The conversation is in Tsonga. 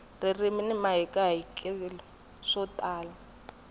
ririmi ni mahikahatelo swi tala